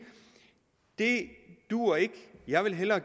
det duer ikke jeg vil hellere